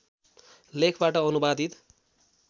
लेखबाट अनुवादित